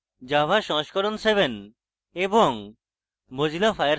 java সংস্করণ 7 এবং